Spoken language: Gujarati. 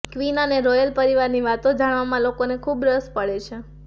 ક્વીન અને રોયલ પરિવારની વાતો જાણવામાં લોકોને ખૂબ રસ પડે છે